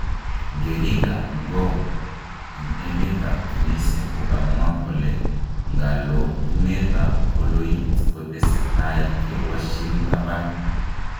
Ngerik ap ngoo, en emet ap Tunisia kokomwa kole ngalotunet ap coloit kotesetai kewashin tapan